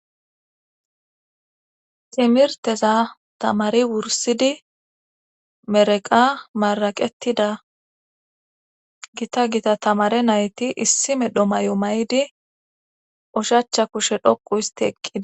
Timirteza tamari wursidi mereqa maraqettida gita gita tamare nayti issi medho may7o may7di ushachcha kushe dhoqu histi eqida